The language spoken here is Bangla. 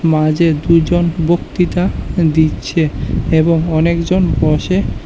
মাঝের দুজন বক্তৃতা দিচ্ছে এবং অনেকজন বসে--